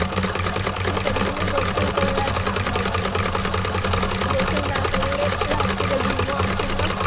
শীতের দিনে গোসল করলে আর ঠান্ডা লাগেনা গোসল না করলে রাত্রে ঘুম ও আসেনা।